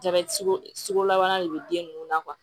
Jabɛti kolabana de bɛ den ninnu na